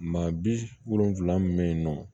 Maa bi wolonfila min be yen nɔ